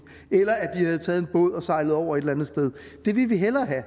eller at de havde taget en båd og var sejlet over et eller andet sted det ville vi hellere have og